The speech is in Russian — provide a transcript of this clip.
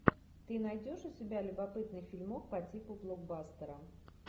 ты найдешь у себя любопытный фильмок по типу блокбастера